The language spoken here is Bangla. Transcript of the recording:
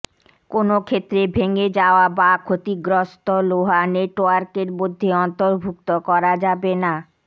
কোনো ক্ষেত্রে ভেঙে যাওয়া বা ক্ষতিগ্রস্ত লোহা নেটওয়ার্কের মধ্যে অন্তর্ভুক্ত করা যাবে না